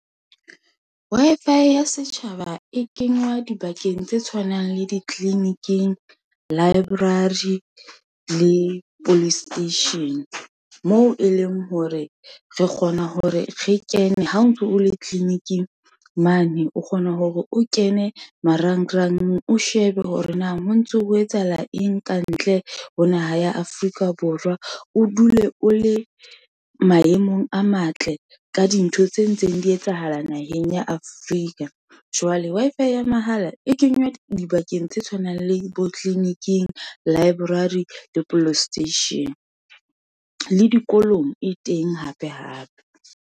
Wi-Fi ya setjhaba e kenywa dibakeng tse tshwanang le ditliliniking, library, le police station, moo e leng hore re kgona hore re kene ha o ntso o le tliliniking mane, o kgona hore o kene mara ngrang, o shebe hore na ho ntso ho etsahala eng, ka ntle ho naha ya Afrika Borwa. O dule o le maemong a matle, ka dintho tse ntseng di etsahala naheng ya Afrika. Jwale Wi-Fi ya mahala e kenywa dibakeng tse tshwanang le bo tliliniking, library, le police station. Le dikolong e teng hape, hape.